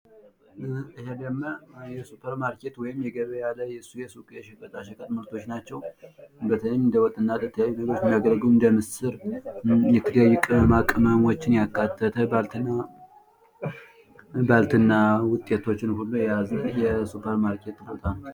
እነኝህ የምናያቸው ብዛት ያላቸው የ ሱፐር ማርኬት ምርቶች ናቸው። ቅመማ ቅመም እና ባልትና የመሳሰሉት ይገኙበታል።